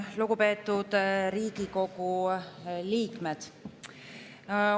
Lugupeetud Riigikogu liikmed!